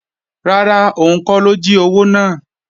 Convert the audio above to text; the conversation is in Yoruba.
Rárá, òun kọ́ ló jí owó náà